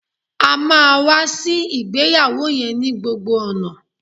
A máa wá sí ìgbéyàwó yẹn ni gbogbo ọ̀nà